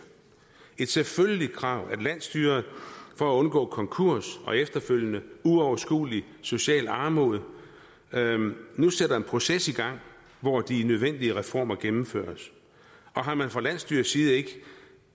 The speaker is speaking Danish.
et selvfølgeligt krav at landsstyret for at undgå konkurs og efterfølgende uoverskuelig social armod nu sætter en proces i gang hvor de nødvendige reformer gennemføres og har man fra landsstyrets side ikke